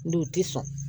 Ndo ti sɔn